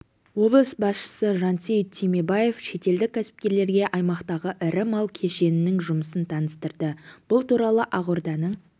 облыс басшысы жансейіт түймебаев шетелдік кәсіпкерлерге аймақтағы ірі мал кешенінің жұмысын таныстырды бұл туралы ақорданың